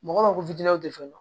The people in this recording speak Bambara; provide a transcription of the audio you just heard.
Mɔgɔ ma ko fitiniw tɛ fɛn dɔn